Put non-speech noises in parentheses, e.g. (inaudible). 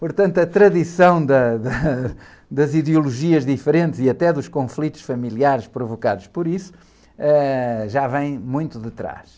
Portanto, a tradição das, (laughs) das ideologias diferentes e até dos conflitos familiares provocados por isso já vêm muito detrás.